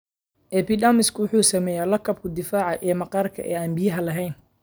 epidermisku wuxuu sameeyaa lakabka difaaca ee maqaarka ee aan biyuhu lahayn.